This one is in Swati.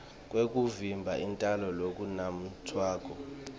kwekuvimba intalo lokunatfwako